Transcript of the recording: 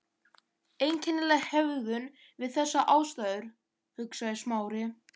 Einkennileg hegðun við þessar aðstæður, hugsaði Smári.